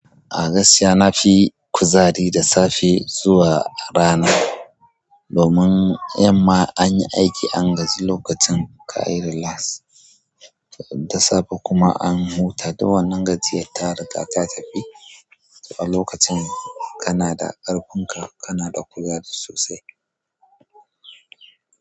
Agaskiya na fi kuzari da safe zuwa rana. Domin yamma anyi aiki angaji lokacin kayi ri las da safe kuma an huta. Dun wannan gajiyar ta riga ta tafi. To a lokacin kana da ƙarfin ka, kana da kuzari sosai.